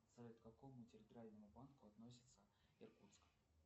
салют к какому территориальному банку относится иркутск